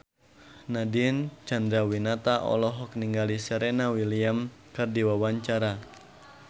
Nadine Chandrawinata olohok ningali Serena Williams keur diwawancara